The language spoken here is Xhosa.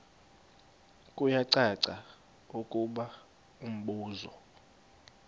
kuyacaca ukuba umbuso